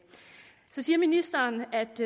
så siger ministeren at det